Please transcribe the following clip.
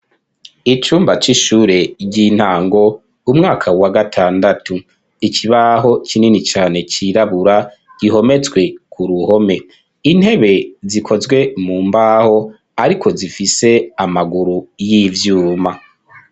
Icumba c'ishure ry'intango umwaka wa gatandatu ikibaho kinini cane cirabura gihometswe ku ruhome, intebe zikozwe mu mbaho ariko zifise amaguru y'ivyuma.